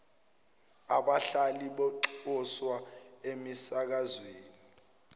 abahlali banxuswa emisakazweni